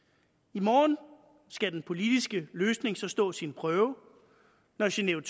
i morgen skal den politiske løsning så stå sin prøve når genève